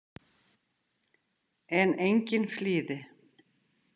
En enginn flýði.